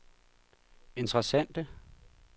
interessante